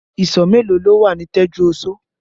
Ìsọ̀ mélòó lo wà ní Tẹ́júoṣó?